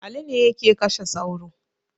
Ali ne yake kashe sauro